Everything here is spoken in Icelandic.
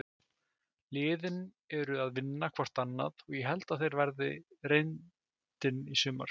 Liðin eru að vinna hvort annað og ég held að það verði reyndin í sumar.